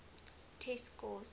test scores